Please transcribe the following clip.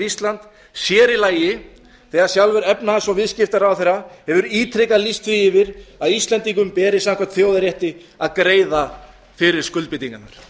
íslands sér í lagi þegar sjálfur efnahags og viðskiptaráðherra hefur ítrekað lýst því yfir að íslendingum beri samkvæmt þjóðarrétti að greiða fyrir skuldbindingarnar